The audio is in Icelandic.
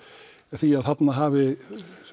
því að þarna hafi